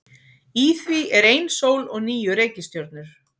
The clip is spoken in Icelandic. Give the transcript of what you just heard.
Í því er ein sól og níu reikistjörnur.